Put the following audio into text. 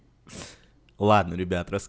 ладно ребят рас